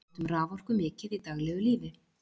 við notum raforku mikið í daglegu lífi